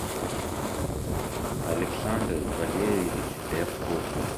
александр валерьевич рябков